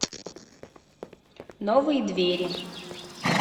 новые двери